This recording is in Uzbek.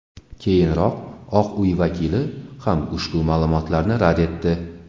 Keyinroq Oq uy vakili ham ushbu ma’lumotlarni rad etdi.